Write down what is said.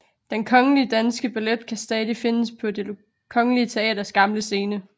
Den Kongelige Danske Ballet kan stadig findes på Det Kongelige Teaters gamle scene